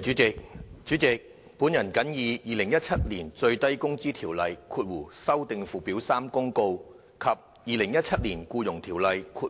主席，本人謹以《2017年最低工資條例公告》及《2017年僱傭條例公